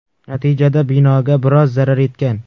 Natijada binoga biroz zarar yetgan.